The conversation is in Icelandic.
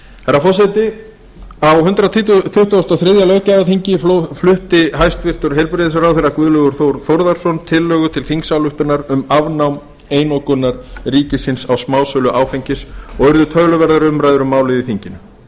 herra forseti á hundrað tuttugasta og þriðja löggjafarþingi flutti hæstvirtur heilbrigðisráðherra guðlaugur þór þórðarson tillögu til þingsályktunar um afnám einokunar ríkisins á smásölu áfengis og urðu töluverðar umræður um málið í þinginu